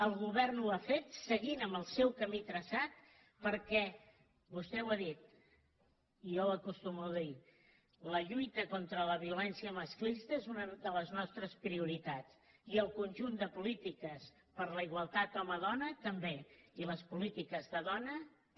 el govern ho ha fet seguint en el seu camí traçat perquè vostè ho ha dit i ho acostumo a dir la lluita contra la violència masclista és una de les nostres prioritats i el conjunt de polítiques per la igualtat home dona també i les polítiques de dona també